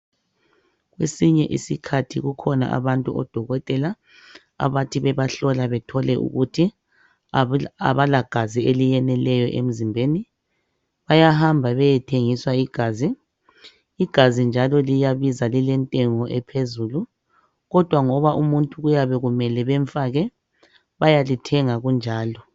Kwesinye isikhathi kukhona abantu odokotela abathi bebahlola, bethole ukuthi kabalagazi eliyeleyo emzimbeni. Bayamba bayethengiswa igazi. Igazi njalo liyabiza. Lilentengo ephezulu. Kodwa ngoba umuntu kuyabe kumele bemfake. Bayalithenga bunjalo.